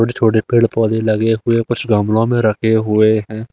छोटे छोटे पेड़ पौधे लगे हुए कुछ गमलों में रखे हुए हैं।